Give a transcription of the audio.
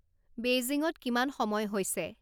বেইজিংত কিমান সময় হৈছে